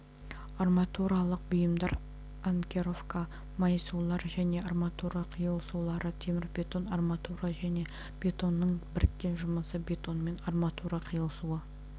арматуралық бұйымдар анкеровка майысулар және арматура қиылысулары темірбетон арматура және бетонның біріккен жұмысы бетонмен арматура қиылысуы